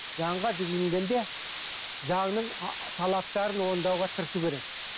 заңға жүгінгенде заңның талаптарын орындауға тырысу керек